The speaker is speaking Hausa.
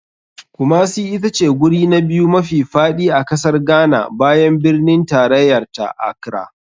Kumasi itace guri na biyu mafi faɗi a kasar ghana bayan birnin tarayarta, accra.